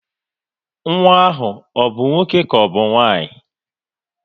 Nwa ahụ ọ bụ nwoke ka ọbụ nwanyị?